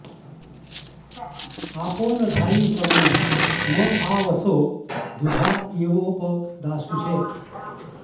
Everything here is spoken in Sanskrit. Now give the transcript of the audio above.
आपो न धायि सवनं म आ वसो दुघा इवोप दाशुषे